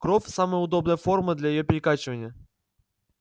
кровь самая удобная форма для её перекачивания